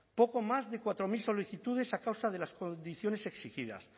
poco más de cuatro mil solicitudes a causa de las condiciones exigidas